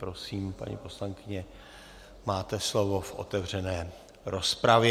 Prosím, paní poslankyně, máte slovo v otevřené rozpravě.